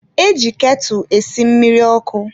E ji ketụ esi mmiri ọkụ.